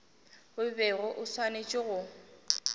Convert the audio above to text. o bego o swanetše go